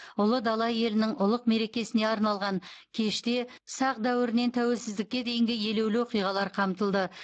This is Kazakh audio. ұлы дала елінің ұлық мерекесіне арналған кеште сақ дәуірінен тәуелсіздікке дейінгі елеулі оқиғалар қамтылды